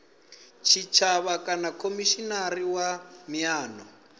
tshitshavha kana khomishinari wa miano